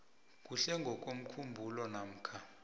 kuhle ngokomkhumbulo namkha